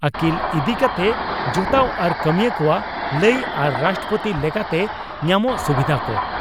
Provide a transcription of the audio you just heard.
ᱟᱠᱤᱞ ᱤᱫ ᱠᱟᱛᱮ ᱡᱚᱴᱟᱣ ᱟᱨ ᱠᱟᱹᱢᱤᱭᱟᱹ ᱠᱚᱣᱟᱜ ᱞᱟᱹᱭ ᱟᱨ ᱨᱟᱥᱴᱨᱚᱯᱳᱛᱤ ᱞᱮᱠᱟᱛᱮ ᱧᱟᱢᱚᱜ ᱥᱩᱵᱤᱫᱷᱟ ᱠᱚ ᱾